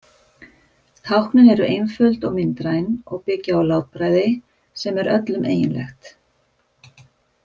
Táknin eru einföld og myndræn og byggja á látbragði sem er öllum eiginlegt.